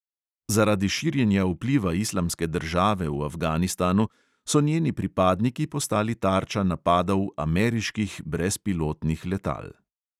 Zaradi širjenja vpliva islamske države v afganistanu so njeni pripadniki postali tarča napadov ameriških brezpilotnih letal.